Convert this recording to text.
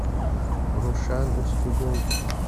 рушан устюгов